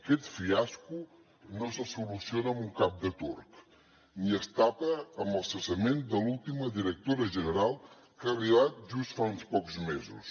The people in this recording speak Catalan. aquest fiasco no se soluciona amb un cap de turc ni es tapa amb el cessament de l’última directora general que ha arribat just fa uns pocs mesos